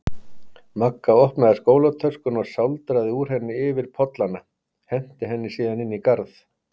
Magga opnaði skólatöskuna og sáldraði úr henni yfir pollana, henti henni síðan inn í garð.